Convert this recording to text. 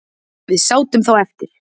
Við sátum þá eftir